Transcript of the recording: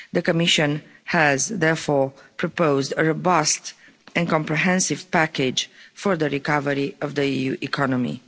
The Commission has therefore proposed a robust and comprehensive package for the recovery of the EU economy.